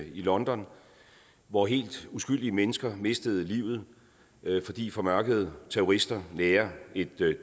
i london hvor helt uskyldige mennesker mistede livet fordi formørkede terrorister nærer et